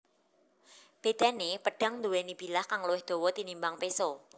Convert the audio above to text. Bédané pedhang nduwèni bilah kang luwih dawa tinimbang péso